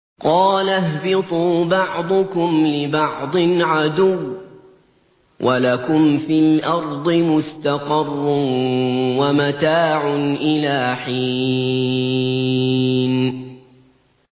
قَالَ اهْبِطُوا بَعْضُكُمْ لِبَعْضٍ عَدُوٌّ ۖ وَلَكُمْ فِي الْأَرْضِ مُسْتَقَرٌّ وَمَتَاعٌ إِلَىٰ حِينٍ